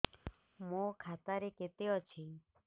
ମୋ ଖାତା ରେ କେତେ ଅଛି